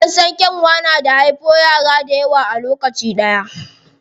An san kyanwa da haifo yara dayawa a lokaci ɗaya.